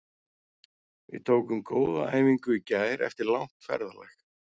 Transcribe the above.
Við tókum góða æfingu í gær eftir langt ferðalag.